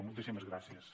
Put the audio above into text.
moltíssimes gràcies